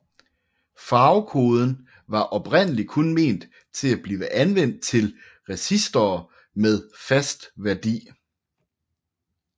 Farvekoden var oprindelig kun ment til at blive anvendt til resistorer med fast værdi